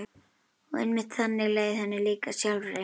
Og einmitt þannig leið henni líka sjálfri.